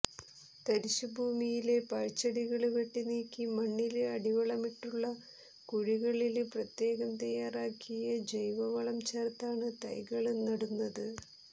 തരിശുഭൂമിയിലെ പാഴ്ചെടികള് വെട്ടിനീക്കി മണ്ണില് അടിവളമിട്ടുള്ള കുഴികളില് പ്രത്യേകം തയാറാക്കിയ ജൈവവളം ചേര്ത്താണ് തൈകള് നടന്നത്